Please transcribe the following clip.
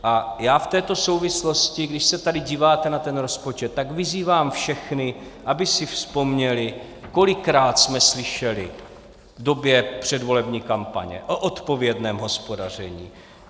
A já v této souvislosti, když se tady díváte na ten rozpočet, tak vyzývám všechny, aby si vzpomněli, kolikrát jsme slyšeli v době předvolební kampaně o odpovědném hospodaření.